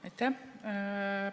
Aitäh!